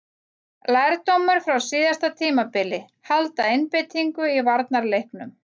Lærdómur frá síðasta tímabili: Halda einbeitingu í varnarleiknum.